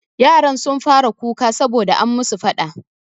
Yaran sun fara kuka sabo da an musu faɗa.